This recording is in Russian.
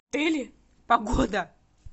погода